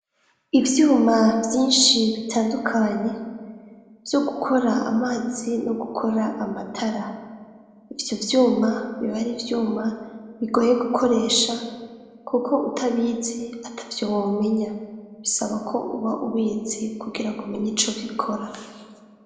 Ivyuma vyinshi bitandukanye vyo gukora amazi no gukora amatara. Ivyo vyuma biba ari vyuma bigoye gukoresha ; kuko utabizi atavyo womenya . Bisaba ko uba ubizi kugira ngo umenye ico bikora.